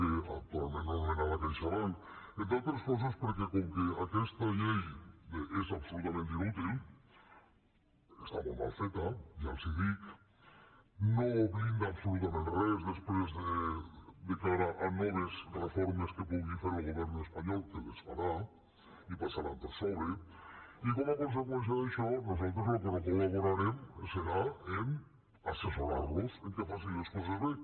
actualment anomenada caixabank entre altres coses perquè com que aquesta llei és absolutament inútil està molt mal feta ja els ho dic no blinda absolutament res després de cara a noves reformes que pugui fer el govern espanyol que les farà i passaran per sobre i com a conseqüència d’això nosaltres en el que no col·laborarem serà a assessorar los que facin les coses bé